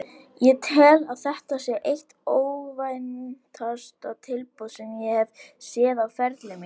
Ég tel að þetta sé eitt óvæntasta tilboð sem ég hef séð á ferli mínum.